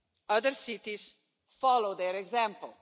other cities follow their example.